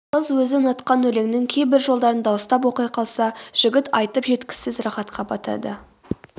қыз өзі ұнатқан өлеңнің кейбір жолдарын дауыстап оқи қалса жігіт айтып жеткісіз рахатқа батады